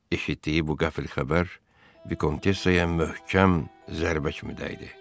Eşitdiyi bu qəfil xəbər vikontessaya möhkəm zərbə kimi dəydi.